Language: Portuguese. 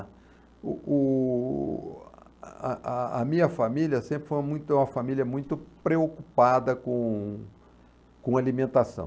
A o o... a a a minha família sempre foi muito uma família muito preocupada com com alimentação.